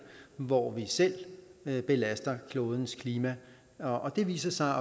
hvor vi selv belaster klodens klima det viser sig